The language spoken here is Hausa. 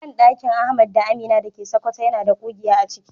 Bandakin Ahmad da Amina dake Sokoto yana da kugiya aciki.